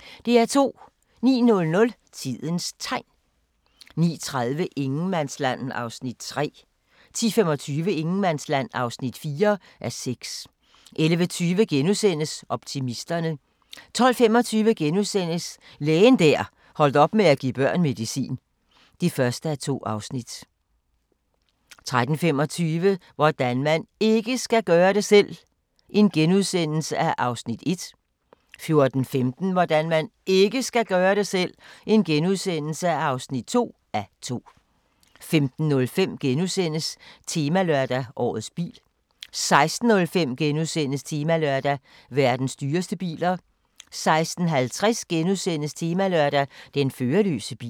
09:00: Tidens Tegn 09:30: Ingenmandsland (3:6) 10:25: Ingenmandsland (4:6) 11:20: Optimisterne * 12:25: Lægen der holdt op med at give børn medicin (1:2)* 13:25: Hvordan man IKKE skal gøre det selv! (1:2)* 14:15: Hvordan man IKKE skal gøre det selv! (2:2)* 15:05: Temalørdag: Årets bil * 16:05: Temalørdag: Verdens dyreste biler * 16:50: Temalørdag: Den førerløse bil *